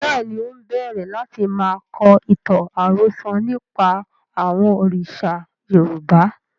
Bẹ́ẹ̀ni, ń ó bẹ̀rẹ̀ láti máa kọ ìtàn àròsọ̀ nípa àwọn òrìṣà Yorùbá